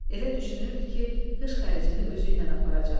Elə düşünürdü ki, qış xərcini özüylə aparacaq.